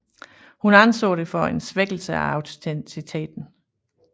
Hun anså det for en svækkelse af autenciteten